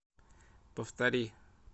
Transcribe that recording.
повтори